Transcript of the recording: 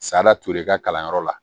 Salatɛri ka kalanyɔrɔ la